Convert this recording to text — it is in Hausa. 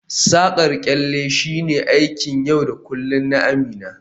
Saƙar kyalle shine aikin yau da kullun na Amina